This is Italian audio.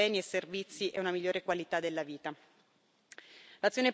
per favorire l'accesso a beni e servizi e una migliore qualità della vita.